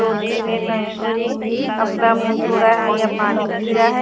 लोटी में टंकी में अपना मुँह धो रहा है या पानी पी रहा है।